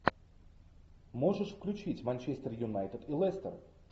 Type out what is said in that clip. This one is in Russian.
можешь включить манчестер юнайтед и лестер